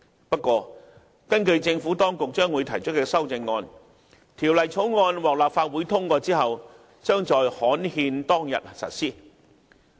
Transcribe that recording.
不過，根據政府當局將會提出的修正案，《條例草案》獲立法會通過後，將在刊憲當日實施。